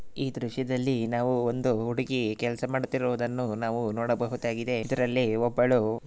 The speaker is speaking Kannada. ಈ ದೃಶ್ಯದಲ್ಲಿ ನಾವು ಒಂದು ಹುಡುಗಿ ಕೆಲಸಮಾಡುತ್ತಿರುವುದನ್ನು ನಾವು ನೋಡಬಹುದಾಗಿದೆ ಇದರಲ್ಲಿ ಒಬ್ಬಳು --